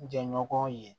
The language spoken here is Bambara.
Jɛɲɔgɔn ye